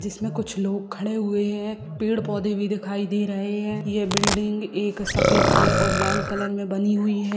जिसमें कुछ लोग खड़े हुए हैं पेड़ पौधे भी दिखाई दे रहे हैं यह बिल्डिंग एक सफ़ेद कलर और लाल कलर में बनी हुई है।